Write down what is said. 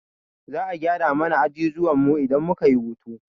Za'a gyara mana ajujuwan mu idan muka yi hutu.